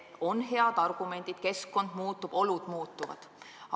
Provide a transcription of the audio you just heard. On head argumendid: keskkond muutub, olud muutuvad.